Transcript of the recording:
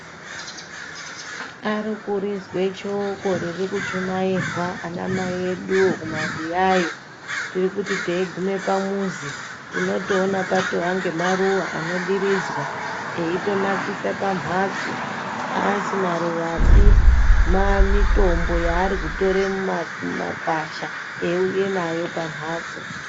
Ari kurizwe shoko riri kuchumairwa ana mai eduwo kumabuyayo tiri kuti teigume pamuzi tinootone pane maruwa anodiridzwa eitonakisa pamhatso aasi maruwapi mitombo yaari kutore mumakwasha eiuye nayo pamhatso